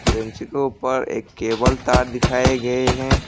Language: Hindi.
पर एक केबल तार दिखाए गए हैं।